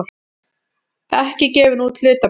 ekki gefin út hlutabréf.